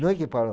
Não é que parou.